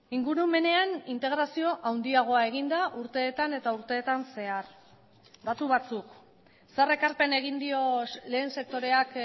ingurumenean integrazio handiagoa egin da urteetan eta urteetan zehar datu batzuk zer ekarpen egin dio lehen sektoreak